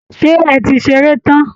Ṣé ẹ ti ṣeré tán?